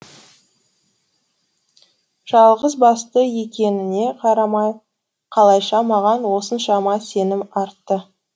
жалғызбасты екеніне қарамай қалайша маған осыншама сенім артты